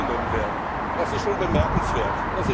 Das ist schon bemerkenswert.